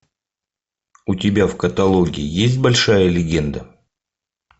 у тебя в каталоге есть большая легенда